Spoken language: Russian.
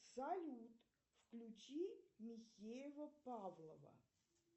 салют включи михеева павлова